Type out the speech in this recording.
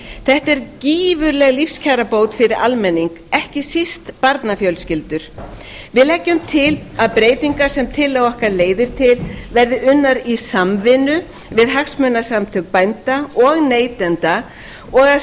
þetta er gífurleg lífskjarabót fyrir almenning ekki síst barnafjölskyldur við leggjum til að breytingar sem tillaga okkar leiðir til verði unnar í samvinnu við hagsmunasamtök bænda og neytenda og að